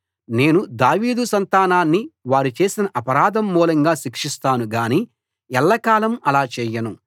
నేను దావీదు సంతానాన్ని వారు చేసిన అపరాధం మూలంగా శిక్షిస్తాను గానీ ఎల్లకాలం అలా చేయను